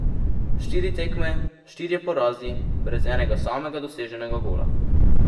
Štiri tekme, štirje porazi, brez enega samega doseženega gola.